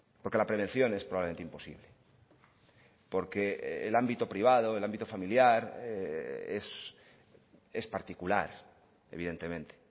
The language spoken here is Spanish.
porque la prevención es probablemente imposible porque el ámbito privado el ámbito familiar es particular evidentemente